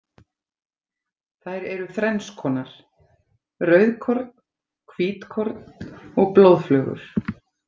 Þær eru þrennskonar, rauðkorn, hvítkorn og blóðflögur.